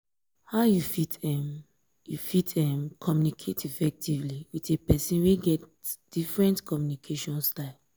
how you fit um you fit um communicate um effectively with a pesin wey get different communication style?